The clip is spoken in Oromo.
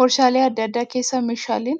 Waarshaalee adda addaa keessaa meeshaaleen